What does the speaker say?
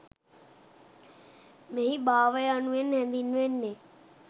මෙහි භාව යනුවෙන් හැඳින්වෙන්නේ